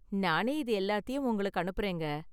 நானே இது எல்லாத்தையும் உங்களுக்கு அனுப்புறேங்க.